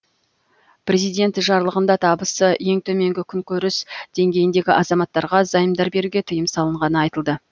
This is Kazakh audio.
президент жарлығында табысы ең төменгі күнкөріс деңгейіндегі азаматтарға займдар беруге тыйым салынғаны айтылды